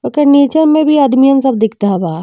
ओकर नीचे में भी आदमीयन सब दिकधा बा।